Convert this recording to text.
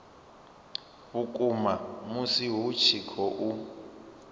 vhukuma musi hu tshi khou